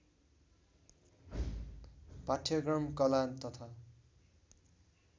पाठ्यक्रम कला तथा